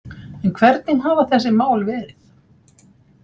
En hvernig hafa þessi mál verið